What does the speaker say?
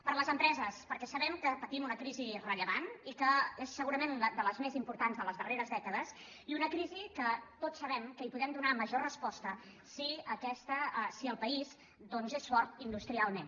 per les empreses perquè sa·bem que patim una crisi rellevant i que és segurament de les més importants de les darreres dècades i una crisi que tots sabem que hi podem donar major res·posta si el país és fort industrialment